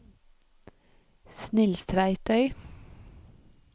Snilstveitøy